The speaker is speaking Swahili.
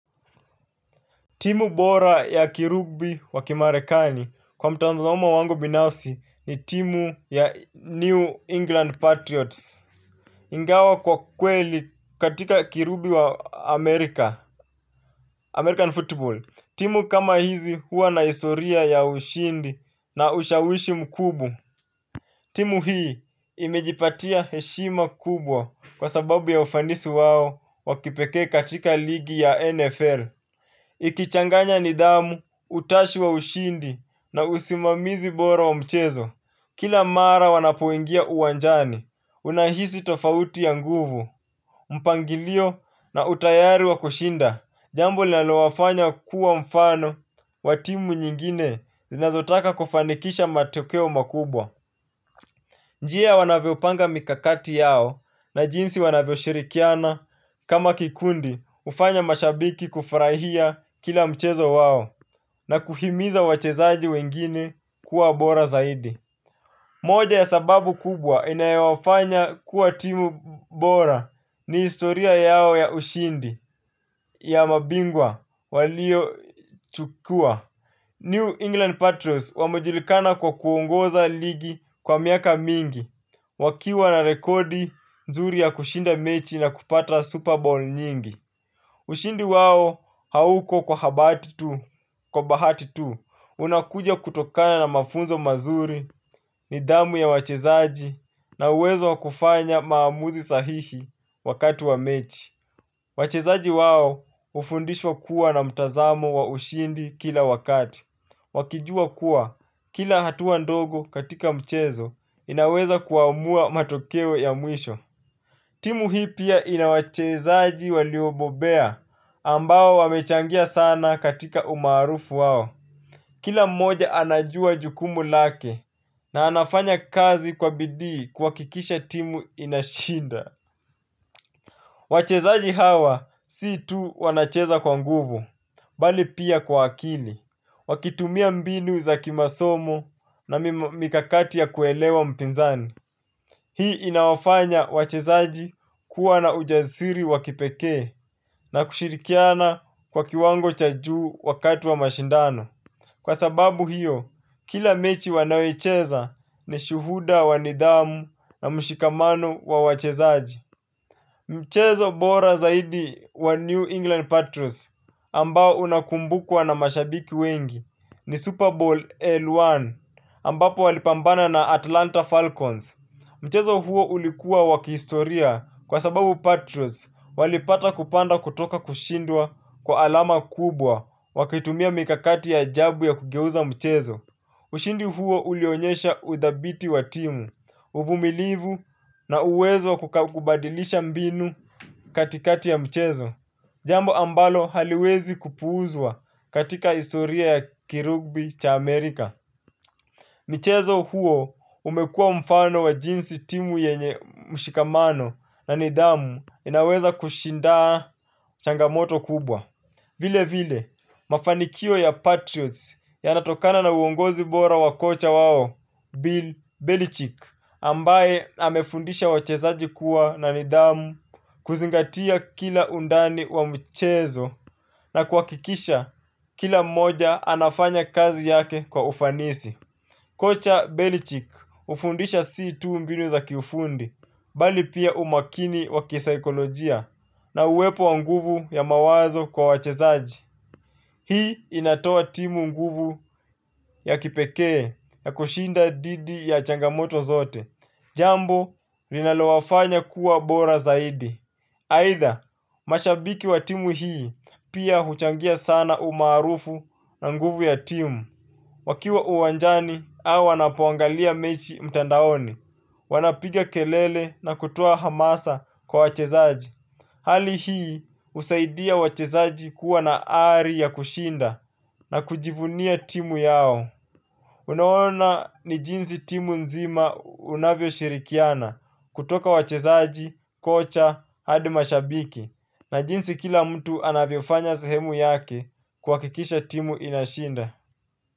Timu bora ya kirugbi wa kimarekani kwa mtanzamo wangu binafsi ni timu ya New England Patriots. Ingawa kwa kweli katika kirugbi wa Amerika American Football. Timu kama hizi huwa na historia ya ushindi na ushawishi mkubwa. Timu hii imejipatia heshima kubwa kwa sababu ya ufanisi wao wa kipekee katika ligi ya NFL ikichanganya nidhamu, utashi wa ushindi na usimamizi bora wa mchezo. Kila mara wanapoingia uwanjani, unahisi tofauti ya nguvu. Mpangilio na utayari wa kushinda jambo linalowafanya kuwa mfano, wa timu nyingine zinazotaka kufanikisha matokeo makubwa. Njia wanavyopanga mikakati yao na jinsi wanavyoshirikiana kama kikundi hufanya mashabiki kufurahia kila mchezo wao na kuhimiza wachezaji wengine kuwa bora zaidi. Moja ya sababu kubwa inayowafanya kuwa timu bora ni historia yao ya ushindi ya mabingwa waliochukua. New England Patriots wamejulikana kwa kuongoza ligi kwa miaka mingi wakiwa na rekodi nzuri ya kushinda mechi na kupata Super Bowl nyingi. Ushindi wao hauko kwa habati tu, kwa bahati tu, unakuja kutokana na mafunzo mazuri, nidhamu ya wachezaji, na uwezo wa kufanya maamuzi sahihi wakati wa mechi. Wachezaji wao hufundishwa kuwa na mtazamo wa ushindi kila wakati. Wakijua kuwa, kila hatuwa ndogo katika mchezo, inaweza kuamua matokeo ya mwisho. Timu hii pia ina wachezaji waliobobea ambao wamechangia sana katika umaarufu wao. Kila mmoja anajua jukumu lake na anafanya kazi kwa bidii kuhakikisha timu inashinda. Wachezaji hawa si tu wanacheza kwa nguvu, bali pia kwa akili. Wakitumia mbinu za kimasomo na mikakati ya kuelewa mpinzani. Hii inawafanya wachezaji kuwa na ujazisiri wa kipekee na kushirikiana kwa kiwango cha juu wakati wa mashindano. Kwa sababu hiyo, kila mechi wanayocheza ni shuhuda wanidamu na mshikamano wa wachezaji. Mchezo bora zaidi wa New England Patriots ambao unakumbukwa na mashabiki wengi ni Super Bowl L1 ambapo walipambana na Atlanta Falcons. Mchezo huo ulikuwa wa kihistoria kwa sababu Patriots walipata kupanda kutoka kushindwa kwa alama kubwa wakitumia mikakati ya ajabu ya kugeuza mchezo. Ushindi huo ulionyesha udhabiti wa timu, uvumilivu na uwezo wa kubadilisha mbinu katikati ya mchezo. Jambo ambalo haliwezi kupuuzwa katika historia ya kirugbi cha Amerika. Michezo huo umekuwa mfano wa jinsi timu yenye mshikamano na nidamu inaweza kushinda changamoto kubwa. Vile vile mafanikio ya Patriots yanatokana na uongozi bora wa kocha wao Bill Belichick Ambaye amefundisha wachezaji kuwa na nidhamu kuzingatia kila undani wa michezo na kuhakikisha kila mmoja anafanya kazi yake kwa ufanisi. Kocha Belichick hufundisha si tu mbinu za kiufundi, bali pia umakini wa kisaikolojia na uwepo wa nguvu ya mawazo kwa wachezaji. Hii inatoa timu nguvu ya kipekee ya kushinda dhidi ya changamoto zote. Jambo linalowafanya kuwa bora zaidi. Aidha, mashabiki wa timu hii pia huchangia sana umaarufu na nguvu ya timu. Wakiwa uwanjani au wanapoangalia mechi mtandaoni wanapiga kelele na kutoa hamasa kwa wachezaji. Hali hii husaidia wachezaji kuwa na ari ya kushinda na kujivunia timu yao. Unaona ni jinsi timu nzima unavyoshirikiana. Kutoka wachezaji, kocha, hadi mashabiki na jinsi kila mtu anavyofanya sehemu yake kuhakikisha timu inashinda.